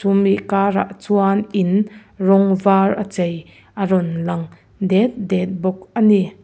mih karah chuan in rawng vara chei a rawn lang det det bawk ani.